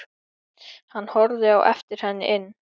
Hann horfði á eftir henni inn.